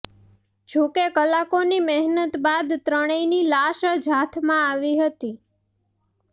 જો કે કલાકોની મહેનત બાદ ત્રણેયની લાશ જ હાથમાં આવી હતી